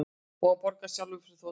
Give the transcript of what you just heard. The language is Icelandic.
Og borgar hann sjálfur fyrir þotuna